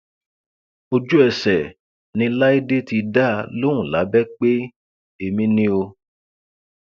ojúẹsẹ ni láìdé ti dá a lóhùn lábẹ pé èmi ni o